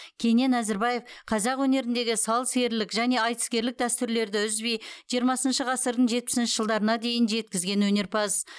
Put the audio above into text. кенен әзірбаев қазақ өнеріндегі сал серілік және айтыскерлік дәстүрлерді үзбей жиырмасыншы ғасырдың жетпісінші жылдарына дейін жеткізген өнерпаз